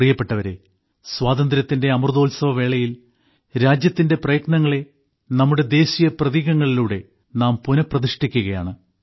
പ്രിയപ്പെട്ടവരെ സ്വാതന്ത്ര്യത്തിന്റെ അമൃതോത്സവവേളയിൽ രാജ്യത്തിന്റെ പ്രയത്നങ്ങളെ നമ്മുടെ ദേശീയ പ്രതീകങ്ങളിലൂടെ നാം പുനപ്രതിഷ്ഠിക്കുകയാണ്